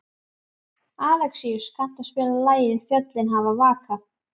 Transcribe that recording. Alexíus, kanntu að spila lagið „Fjöllin hafa vakað“?